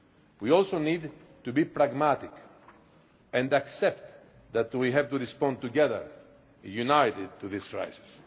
We also need to be pragmatic and accept that we have to respond together, united, to this crisis.